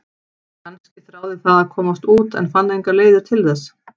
Kannski þráði það að komast út en fann engar leiðir til þess?